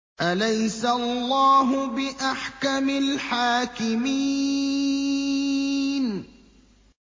أَلَيْسَ اللَّهُ بِأَحْكَمِ الْحَاكِمِينَ